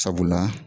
Sabula